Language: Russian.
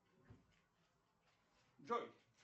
джой